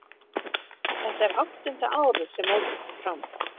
Þetta er áttunda árið sem mótið fer fram.